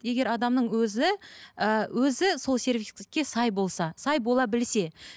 егер адамның өзі ы өзі сол сервиске сай болса сай бола білсе